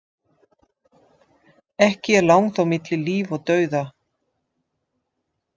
Ekki er langt á milli líf og dauða.